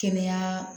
Kɛnɛya